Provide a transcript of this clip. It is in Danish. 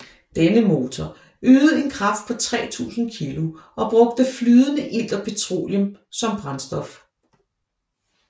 Denne motor ydede en kraft på 3000 kg og brugte flydende ilt og petroleum som brændstof